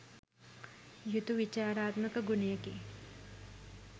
යුතු විචාරාත්මක ගුණයකි.